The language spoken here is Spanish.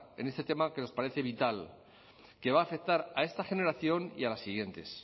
en este tema que nos parece vital que va a afectar a esta generación y a las siguientes